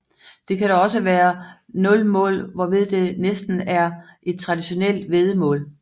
Det kan dog også være 0 mål hvorved det næsten er et traditionelt væddemål